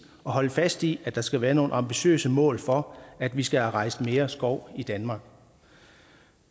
og holde fast i at der skal være nogle ambitiøse mål for at vi skal have rejst mere skov i danmark